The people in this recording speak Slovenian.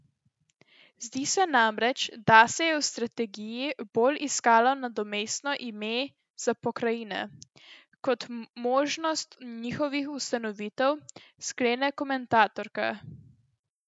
Zdi se namreč, da se je v strategiji bolj iskalo nadomestno ime za pokrajine kot možnost njihovih ustanovitev, sklene komentatorka.